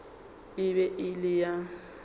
e be e le ya